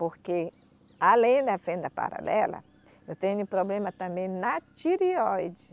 Porque, além da fenda paralela, eu tenho problema também na tireoide.